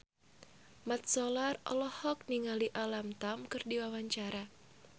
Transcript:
Mat Solar olohok ningali Alam Tam keur diwawancara